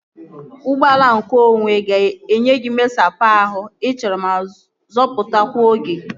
Ụgbọala nke onwe ga-enye gị mmesapụ ahụ ị chọrọ ma zọpụtakwa oge